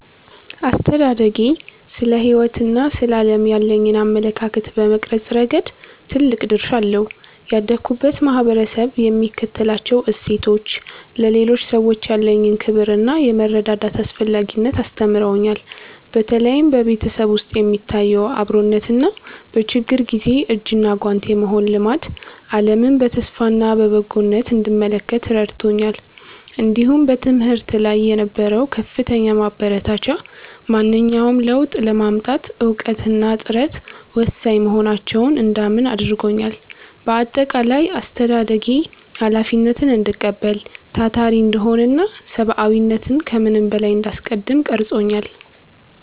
አስተዳደጌ ስለ ሕይወትና ስለ ዓለም ያለኝን አመለካከት በመቅረጽ ረገድ ትልቅ ድርሻ አለው። ያደግሁበት ማኅበረሰብ የሚከተላቸው እሴቶች፣ ለሌሎች ሰዎች ያለኝን ክብርና የመረዳዳት አስፈላጊነትን አስተምረውኛል። በተለይም በቤተሰብ ውስጥ የሚታየው አብሮነትና በችግር ጊዜ እጅና ጓንት የመሆን ልማድ፣ ዓለምን በተስፋና በበጎነት እንድመለከት ረድቶኛል። እንዲሁም በትምህርት ላይ የነበረው ከፍተኛ ማበረታቻ፣ ማንኛውንም ለውጥ ለማምጣት እውቀትና ጥረት ወሳኝ መሆናቸውን እንዳምን አድርጎኛል። በአጠቃላይ፣ አስተዳደጌ ኃላፊነትን እንድቀበል፣ ታታሪ እንድሆንና ሰብዓዊነትን ከምንም በላይ እንዳስቀድም ቀርጾኛል።